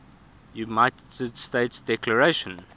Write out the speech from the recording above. united states declaration